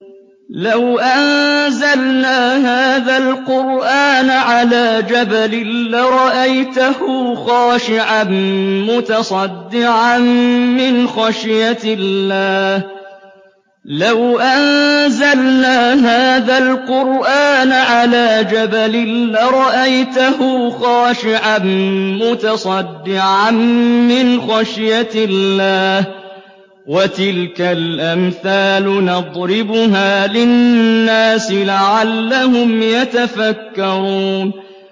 لَوْ أَنزَلْنَا هَٰذَا الْقُرْآنَ عَلَىٰ جَبَلٍ لَّرَأَيْتَهُ خَاشِعًا مُّتَصَدِّعًا مِّنْ خَشْيَةِ اللَّهِ ۚ وَتِلْكَ الْأَمْثَالُ نَضْرِبُهَا لِلنَّاسِ لَعَلَّهُمْ يَتَفَكَّرُونَ